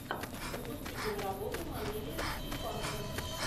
запусти киноработу в манере стимпанка